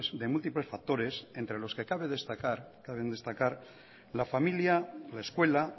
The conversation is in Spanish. de múltiples factores entre los que caben destacar la familia la escuela